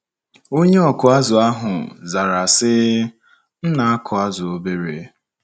Onye ọkụ azụ̀ ahụ zara sị, “M na - akụ azụ̀ obere.